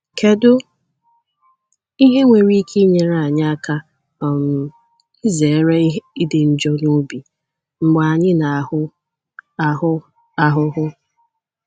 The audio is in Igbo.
Kedu ihe nwere ike inyere anyị aka um izere ịdị njọ n’obi mgbe anyị na - ahụ - ahụ ahụhụ?